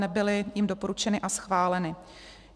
Nebyly jím doporučeny a schváleny.